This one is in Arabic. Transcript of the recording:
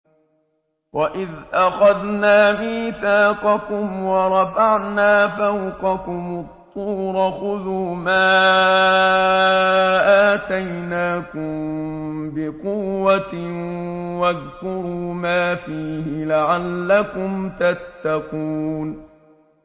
وَإِذْ أَخَذْنَا مِيثَاقَكُمْ وَرَفَعْنَا فَوْقَكُمُ الطُّورَ خُذُوا مَا آتَيْنَاكُم بِقُوَّةٍ وَاذْكُرُوا مَا فِيهِ لَعَلَّكُمْ تَتَّقُونَ